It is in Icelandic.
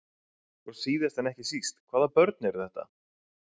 Og síðast en ekki síst, hvaða börn eru þetta?